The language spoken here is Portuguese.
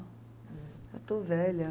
Eu estou velha.